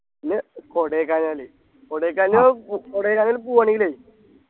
പിന്നെ കൊടൈക്കനാല് കൊടൈക്കനാല് പോ കൊടൈക്കനാല് പോവ്വാണെങ്കിലേ